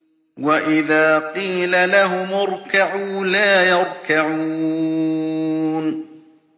وَإِذَا قِيلَ لَهُمُ ارْكَعُوا لَا يَرْكَعُونَ